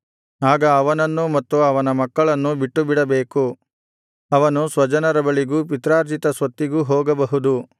ಆಗ ಅವನನ್ನೂ ಮತ್ತು ಅವನ ಮಕ್ಕಳನ್ನೂ ಬಿಟ್ಟುಬಿಡಬೇಕು ಅವನು ಸ್ವಜನರ ಬಳಿಗೂ ಪಿತ್ರಾರ್ಜಿತ ಸ್ವತ್ತಿಗೂ ಹೋಗಬಹುದು